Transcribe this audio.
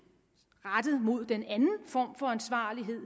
rettet mod den anden form for ansvarlighed